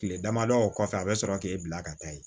Kile damadɔ kɔfɛ a bɛ sɔrɔ k'e bila ka taa yen